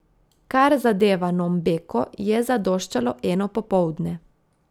Kar zadeva Nombeko, je zadoščalo eno popoldne.